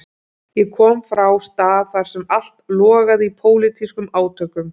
Ég kom frá stað þar sem allt logaði í pólitískum átökum.